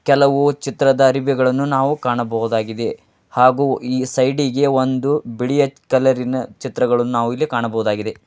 ಕೆಲವು ಚಿತ್ರದ ಅರಬಿ ಅನ್ನು ನಾವು ಕಾಣಬಹುದಾಗಿದೆ ಹಾಗು ಈ ಸೈಡ್ ಇನಲ್ಲಿ ಬಿಳಿಯ ಕಲರ್ ಚಿತ್ರ ನಾವು ಕಾಣಬಹುದಾಗಿದೆ.